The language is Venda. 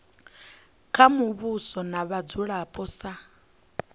kha muvhuso na vhadzulapo sa